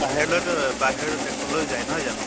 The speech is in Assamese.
বাহিৰলৈ তো বাহিৰ দেশলৈ যায় নহয় জানো?